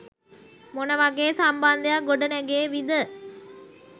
මොන වගේ සම්බන්ධයක් ගොඩනැගේවිද?